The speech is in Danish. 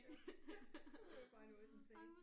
Ja det var jo bare noget den sagde